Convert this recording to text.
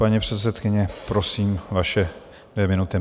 Paní předsedkyně, prosím, vaše dvě minuty.